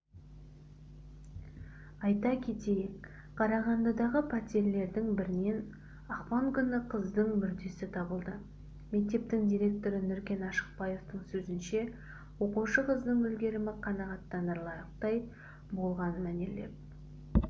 айта кетейік қарағандыдағы пәтерлердің бірінен ақпан күні қыздың мүрдесі табылды мектептің директоры нүркен ашықбаевтың сөзінше оқушы қыздың үлгерімі қанағаттанарлықтай болған мәнерлеп